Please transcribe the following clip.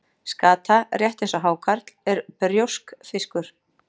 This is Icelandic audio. Skata, rétt eins og hákarl, er brjóskfiskur.